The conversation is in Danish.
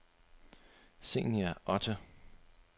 Zenia Otte